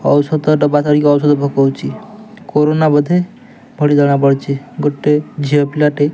ଔଷଧ ଡବା ଧରିକି ଔଷଧ ପକୋଉଚି କୋରୋନ ବୋଧେ ପଡ଼ି ଜଣାପଡ଼ୁଛି ଗୋଟେ ଝିଅ ପିଲା ଟେ --